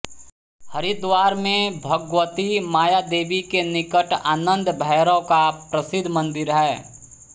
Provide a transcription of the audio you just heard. हरिद्वार में भगवती मायादेवी के निकट आनंद भैरव का प्रसिद्ध मंदिर है